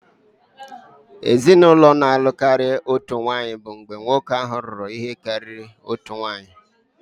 Ezinụlọ na-alụ karịa otu nwanyị bụ mgbe nwoke ahụ lụrụ ihe karịrị otu nwanyị